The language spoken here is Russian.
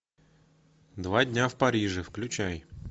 два дня в париже включай